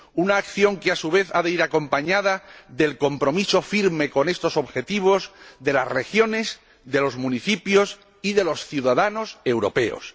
Una acción que, a su vez, ha de ir acompañada del compromiso firme con estos objetivos de las regiones, de los municipios y de los ciudadanos europeos.